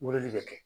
Mɔbili bɛ kɛ